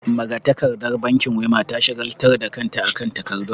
Magatakardar bankin Wema ta shagaltar da kanta akan takardun.